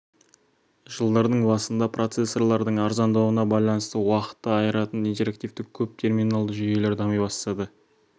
жылдардың басында процессорлардың арзандауына байланысты уақытты айыратын интерактивті көп терминалды жүйелер дами бастады